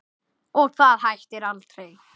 Og það hættir aldrei.